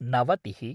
नवतिः